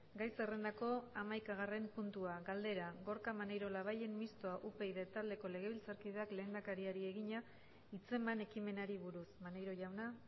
gai zerrendako hamaikagarren puntua galdera gorka maneiro labayen mistoa upyd taldeko legebiltzarkideak lehendakariari egina hitzeman ekimenari buruz maneiro jauna